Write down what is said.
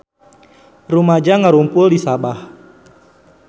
Rumaja ngarumpul di Sabah